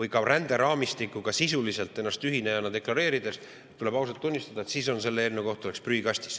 ennast ränderaamistikuga sisuliselt ühinejana deklareerinuna ausalt tunnistada, et selle eelnõu koht oleks prügikastis.